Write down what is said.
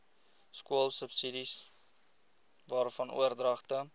skoolsubsidies waarvan oordragte